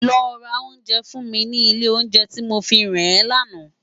Lò rá óunjè fún mi ni ilé óunjè ti mó fihán è làná